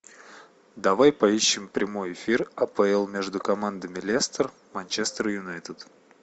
давай поищем прямой эфир апл между командами лестер манчестер юнайтед